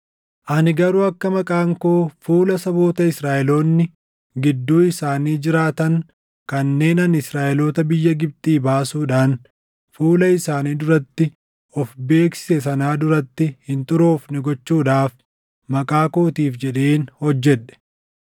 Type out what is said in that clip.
Ani garuu akka maqaan koo fuula saboota Israaʼeloonni gidduu isaanii jiraatan kanneen ani Israaʼeloota biyya Gibxii baasuudhaan fuula isaanii duratti of beeksise sanaa duratti hin xuroofne gochuudhaaf maqaa kootiif jedheen hojjedhe.